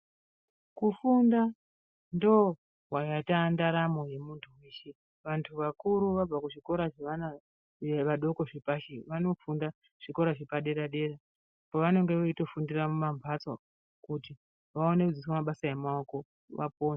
Kufunda ndokwataandaramo yemuntu weshe vantu vakuru vabva kuzvikora zvevana Kunyanya vadokozvepashi vanofunda zvikora zvepadera dera pavanenge vachitofundira mumamhatso kuti vaone kudzidziswa mabasa emaoko vapone.